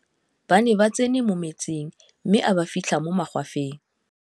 ba ne ba tsene mo metsing mme a ba fitlha mo magwafeng